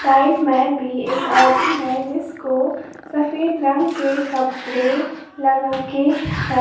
Side में भी एक आदमी है जिसको सफेद रंग के कपड़े लगा के हैं।